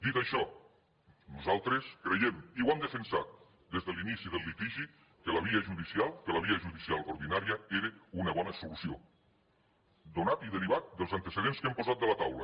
dit això nosaltres creiem i ho hem defensat des de l’inici del litigi que la via judicial que la via judicial ordinària era una bona solució donat i derivat dels antecedents que hem posat a la taula